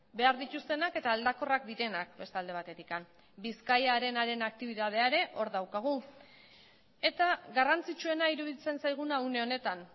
behar dituztenak eta aldakorrak direnak beste alde batetik bizkaia arenaren aktibitatea ere hor daukagu eta garrantzitsuena iruditzen zaiguna une honetan